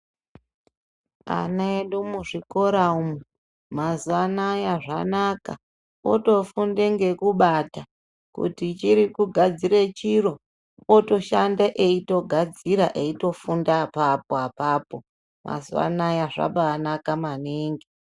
Ana edu muzvikora umu mazuwa anaya zvanaka otofunde ngekubate kuti chiri kugadzire chiro otoshande eitogadzira eitofunda apapo apapo mazuwa anaya zvabaanaka maningi.